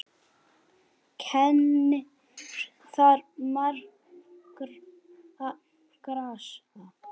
Kennir þar margra grasa.